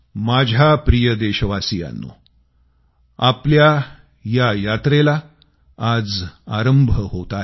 माझ्या प्रिय देशवासियांनो आपल्या या यात्रेला आज आरंभ होत आहे